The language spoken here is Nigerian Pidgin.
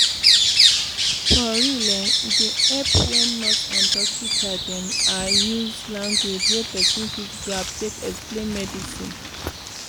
for real eh e dey epp wen nurse and dokita dem ah use lanugauge wey pesin fit grab take explain medicine.